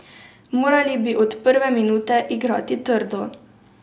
Morali bi od prve minute igrati trdo.